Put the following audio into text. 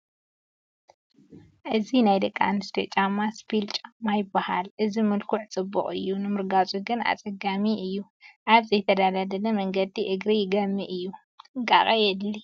እዚ ናይ ደቂ ኣንስትዮ ጫማ ስፒል ጫማ ይበሃል፡፡ እዚ መልክዑ ፅቡቕ እዩ ንምርጋፁ ግን ኣፀጋሚ እዩ፡፡ ኣብ ዘይተደላደለ መንገዲ እግሪ ይገሚ እዩ፡፡ ጥንቃቐ የድሊ፡፡